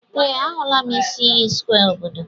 Ee, ahụla m isi iyi square obodo.